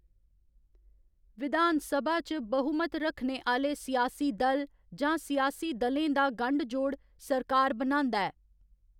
विधानसभा च बहुमत रक्खने आह्‌‌‌ले सियासी दल जां सियासी दलें दा गंढ जोड़ सरकार बनांदा ऐ।